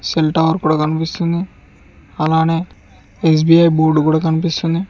Cell tower కూడా కనుపిస్తుంది అలానే ఎ_స్బి_ఐ బోర్డు కూడా కనిపిస్తుంది.